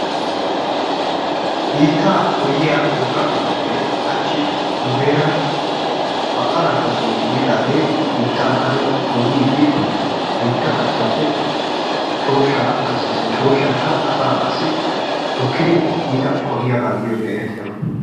biittaa goyyiyaa wogga maakinaay baqqalatta soo yiidaagee biittaa gaden gooyyidi biita garssaappe shoshshaa keessiis. he shooshshaykka asaa keehippe qohiyaaba gidiyoogee erettidaba.